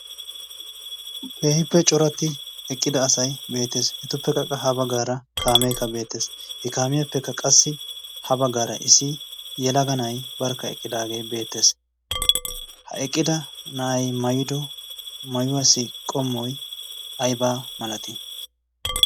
keehippe coratti eqqida asai beettees. etuppekkaqa ha baggaara kaameekka beettees. he kaamiyaappekka qassi ha baggaara issi yelaga na7ai barkka eqqidaagee beettees. ha eqqida na7ai mayido mayuwaasi qommoi aibaa malati?